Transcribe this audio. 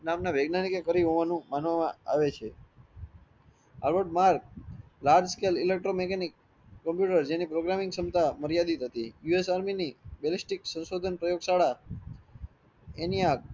નામના વગનયનિક એ કર્યું હોવાનું માનવામાં આવે છે large scale electro mechanic computer જેની programming શમતા માર્યાધિત હતી USarmy ની બેલાસ્ટિક શંશોધન પ્રયોગ શાળા